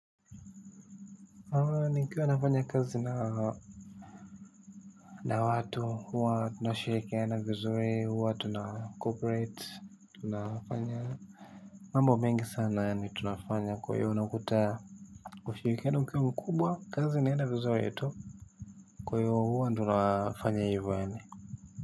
Nikiwa nafanya kazi na na watu huwa tunashirikiana vizuri huwa tunacooperate tunafanya mambo mengi sana yaani tunafanya kwa hiyo unakuta ushirikiano ukiwa mkubwa kazi inaenda vizuri tu kwa hivyo huwa tunafanya hivyo yaani.